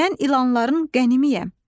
mən ilanların qənimiyəm.